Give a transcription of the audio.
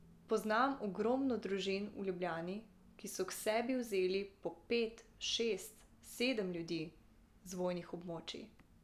Poznam ogromno družin v Ljubljani, ki so k sebi vzeli po pet, šest, sedem ljudi z vojnih območij.